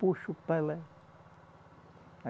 Puxo para lá.